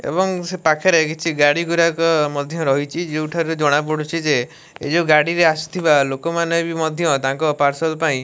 ଏବଂ ସେପାଖରେ କିଛି ଗାଡ଼ି ଗୁରାକ୍ ମଧ୍ୟ ରହିଛି ଯୋଉଠାରେ ଜଣାପଡୁଛି ଯେ ଏ ଯୋଉ ଗାଡ଼ିରେ ଆସିଥିବା ଲୋକମାନେ ମଧ୍ୟ ତାଙ୍କ ପାର୍ସଲ ପାଇଁ --